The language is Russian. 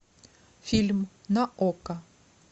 фильм на окко